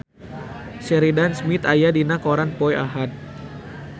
Sheridan Smith aya dina koran poe Ahad